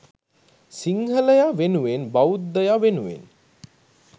සිංහලය වෙනුවෙන් බෞද්ධය වෙනුවෙන්